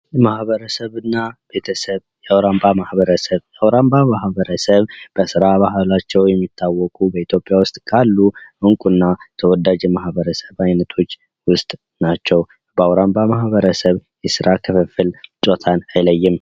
ማህበረሰብ እና ቤተሰብ የአውራምባ ማህበረሰብ የአውራምባ ማህበረሰብ በስራ ባህላቸው የሚታወቁ በኢትዮጵያ ውስጥ ካሉ እንቁና ተወዳጅ የማህበረሰብ አይነቶች ውስጥ ናቸው በአውራምባ ማህበረሰብ የስራ ክፍፍል ጾታን አይለይም።